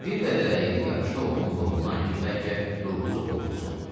Bir qədər əyilib yapışdı oğlunun qolundan ki, bəlkə durğuzuq ovutsun.